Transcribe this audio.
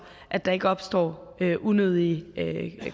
at der ikke opstår unødige